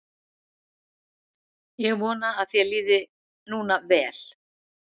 Ég vona að þér líði núna vel.